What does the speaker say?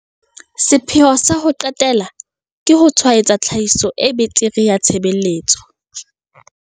Sepheo sa ho qetela ke ho tshwaetsa tlhahiso e betere ya tshebeletso.